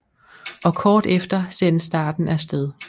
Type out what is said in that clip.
Og kort efter sendes starten af sted